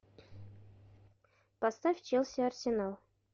поставь челси арсенал